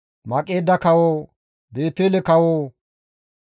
Maqeeda kawo, Beetele kawo,